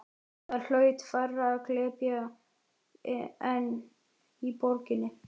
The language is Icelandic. Þar hlaut færra að glepja en í borginni.